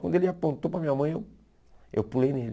Quando ele apontou para a minha mãe, eu eu pulei nele.